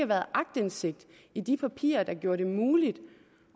været aktindsigt i de papirer der gjorde det muligt